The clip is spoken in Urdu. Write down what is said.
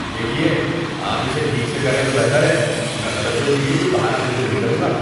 دیکھیے، آپ اسے ٹھیک سے کریں تو بہتر ہے۔ میں غلطیوں کے لیے کوئی بہانہ قبول نہیں کروں گا۔